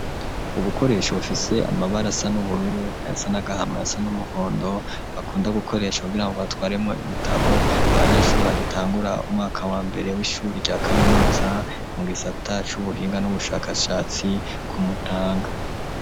Ubukoresha bufise amabari asa n'ubururu aya sa nagahamaya sa n'umuhondo bakunda gukoresha kugira ngo atwaremwo ibitabo abanyeshuri bagitangura umwaka wa mbere w'ishuri rya kaminutsa mu gisata c'ubuhinga n'ubushakashatsi ku mutanga.